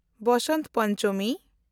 Basant Panchami